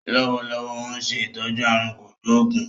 Lọ́wọ́lọ́wọ́ óun ṣe ìtọ́jú aàrùn kò gbóògún